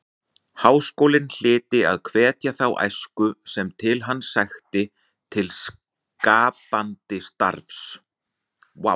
Háskólinn hlyti að hvetja þá æsku sem til hans sækti til skapandi starfs.